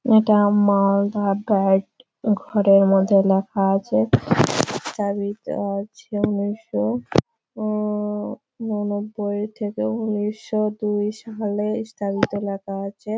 এইটা মালদা ব্যাড ঘরের মধ্যে লেখা আছে। চাবিত আছে ১৯০০ উঁ উঁ ৮৯ থেকে ১৯০২ সালে স্থাপিত লেখা আছে